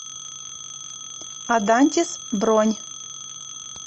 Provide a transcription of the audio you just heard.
адантис бронь